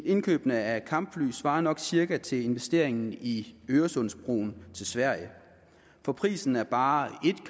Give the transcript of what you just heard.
indkøbet af kampfly svarer nok cirka til investeringen i øresundsbroen til sverige for prisen af bare et